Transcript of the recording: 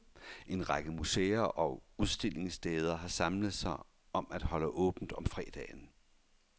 En række museer og udstillingssteder har samlet sig om at holde åbent om fredagen.